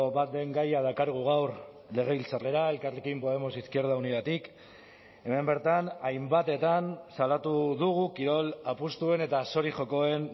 bat den gaia dakargu gaur legebiltzarrera elkarrekin podemos izquierda unidatik hemen bertan hainbatetan salatu dugu kirol apustuen eta zori jokoen